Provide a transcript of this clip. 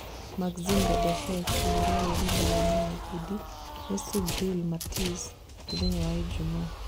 Maxim Dadashev kũhũrwo ũru mbara-inĩ ya ngundi nĩ Subriel Matias mũthenya wa ijumaa